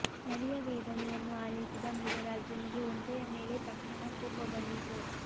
ನರಿಯ ವೇದನೆಯನ್ನು ಆಲಿಸಿದ ಮೃಗರಾಜನಿಗೆ ಒಂಟೆಯ ಮೇಲೆ ತಕ್ಷ ಣ ಕೋಪ ಬಂದಿತು